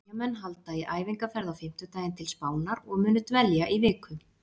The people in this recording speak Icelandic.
Eyjamenn halda í æfingaferð á fimmtudaginn til Spánar og munu dvelja í viku.